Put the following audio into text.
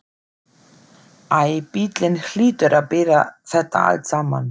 Æ, bíllinn hlýtur að bera þetta allt saman.